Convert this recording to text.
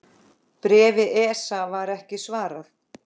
Bréfi ESA var ekki svarað.